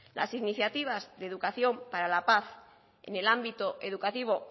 las iniciativas de educación para la paz en el ámbito educativo